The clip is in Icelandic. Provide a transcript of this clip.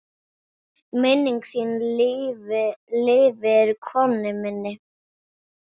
Minning þín lifir, Konni minn.